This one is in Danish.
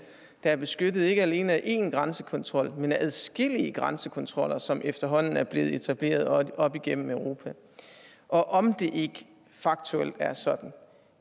der er beskyttet af ikke alene en grænsekontrol men adskillige grænsekontroller som efterhånden er blevet etableret op igennem europa og om det ikke faktuelt er sådan